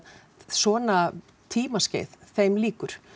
svona tímaskeið þeim lýkur